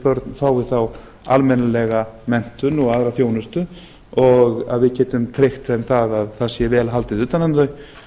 börn fái þá almennilega menntun og aðra þjónustu og við getum tryggt þeim það að það sé vel haldið utan um þau ég